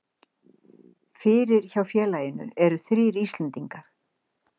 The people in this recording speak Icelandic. Fyrir hjá félaginu eru þrír Íslendingar.